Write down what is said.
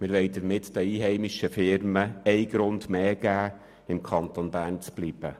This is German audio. Damit wollen wir den einheimischen Firmen einen Grund mehr geben, im Kanton Bern zu bleiben.